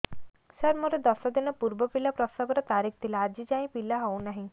ସାର ମୋର ଦଶ ଦିନ ପୂର୍ବ ପିଲା ପ୍ରସଵ ର ତାରିଖ ଥିଲା ଆଜି ଯାଇଁ ପିଲା ହଉ ନାହିଁ